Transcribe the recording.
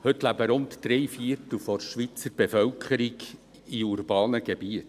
Heute leben rund drei Viertel der Schweizer Bevölkerung in urbanen Gebieten.